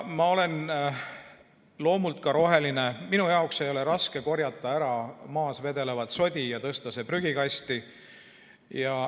Ma olen loomult roheline, minul ei ole raske korjata ära maas vedelevat sodi ja tõsta see prügikasti.